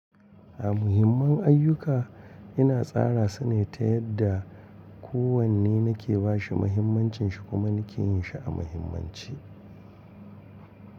A muhimman ayyuka ina tsara su ne ta yadda kowanne nake ba shi muhimmancin shi kuma nake yin shi a muhimmanci.